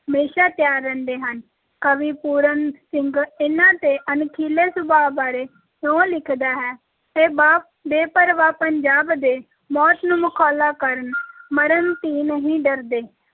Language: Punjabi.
ਹਮੇਸ਼ਾ ਤਿਆਰ ਰਹਿੰਦੇ ਹਨ, ਕਵੀ ਪੂਰਨ ਸਿੰਘ ਇਨ੍ਹਾਂ ਦੇ ਅਣਖੀਲੇ ਸੁਭਾ ਬਾਰੇ ਇਉਂ ਲਿਖਦਾ ਹੈ, ਇਹ ਬਾ ਬੇਪਰਵਾਹ ਪੰਜਾਬ ਦੇ, ਮੌਤ ਨੂੰ ਮਖੌਲਾਂ ਕਰਨ ਮਰਨ ਥੀ ਨਹੀਂ ਡਰਦੇ।